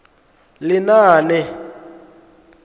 lenaane